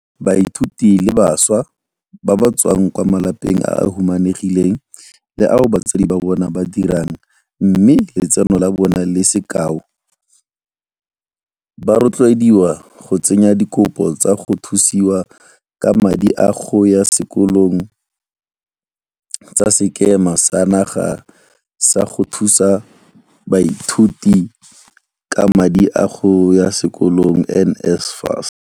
Baithuti le bašwa ba ba tswang kwa malapeng a a humanegileng le ao batsadi ba bona ba dirang mme letseno la bona le se kalo ba rotloediwa go tsenya dikopo tsa go thusiwa ka madi a go ya sekolong tsa Sekema sa Naga sa go Thusa Baithuti ka madi a go ya Sekolong NSFAS.